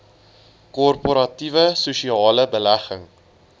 korporatiewe sosiale belegging